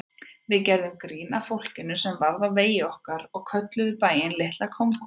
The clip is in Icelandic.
Við gerðum grín að fólkinu sem varð á vegi okkar og kölluðum bæinn Litla Kongó.